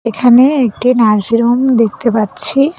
এখানে একটি nursing home দেখতে পাচ্ছি।